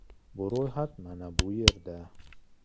Bu ro‘yxat mana bu yerda .